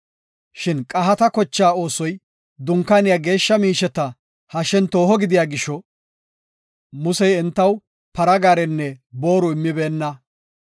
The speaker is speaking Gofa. Shin Qahaata kochaa oosoy Dunkaaniya geeshsha miisheta hashen toho gidiya gisho Musey entaw para gaarenne booru immibeenna.